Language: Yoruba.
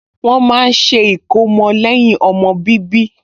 Wọ́n máa ń ṣe ìkómọ lẹ́yìn ọmọ bíbí